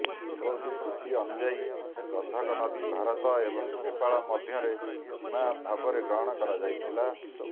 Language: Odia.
ସୁଗୌଲି ଚୁକ୍ତି ଅନୁଯାୟୀ ଗାନ୍ଧକ ନଦୀ ଭାରତ ଏବଂ ନେପାଳ ମଧ୍ୟରେ ସୀମା ଭାବରେ ଗ୍ରହଣ କରାଯାଇଥିଲା